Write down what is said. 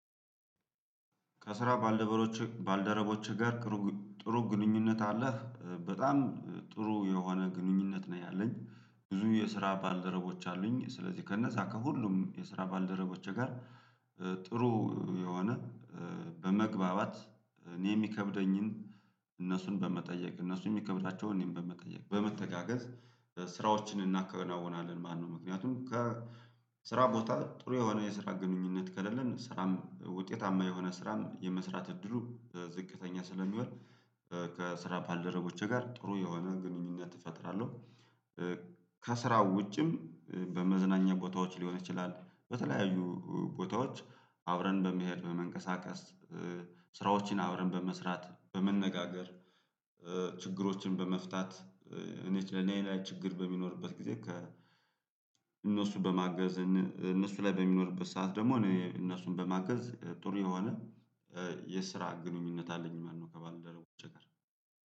ከስራ ባልደረቦችህ ጋር ጥሩ ግንኙነት አለህ? በጣም ጥሩ የሆነ ግንኙነት ነው ያለኝ። ብዙ የስራ ባልደረቦች አሉኝ። ስለዚህ ከነዛ ከሁሉም የስራ ባልደረቦቼ ጋር ጥሩ የሆነ በመግባባት እኔ የሚከብደኝን እነሱን በመጠየቅ እነሱን የሚከብዳቸውን እኔም በመጠየቅ በመተጋገዝ ስራዎችን እናከናውናለን ማለት ነው። ምክንያቱም ከስራ ቦታ ጥሩ የሆነ የስራ ግንኙነት ከሌለን ስራም ውጤታማ የሆነ ስራም የመስራት እድሉ ዝቅተኛ ስለሚሆን ከስራ ባልደረቦቼ ጋር ጥሩ የሆነ ግንኙነት እፈጥራለሁ። ከስራው ውጭም በመዝናኛ ቦታዎች ሊሆን ይችላል በተለያዩ ቦታዎች አብረን በመሄድ በመንቀሳቀስ ስራዎችን አብረን በመስራት በመነጋገር ችግሮችን በመፍታት እኔች ለኔ ላይ ችግር በሚኖርበት ጊዜ ከ እነሱ በማገዝ እነሱ ላይ በሚኖርበት ሰዓት ደግሞ እኔ እነሱን በማገዝ ጥሩ የሆነ የስራ ግንኙነት አለኝ ማለት ነው ከባልደረቦቼ ጋር።